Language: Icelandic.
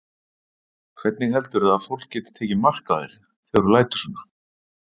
Hvernig heldurðu að fólk geti tekið mark á þér þegar þú lætur svona?